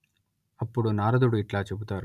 అప్పుడు నారదుడు ఇట్లా చెబుతారు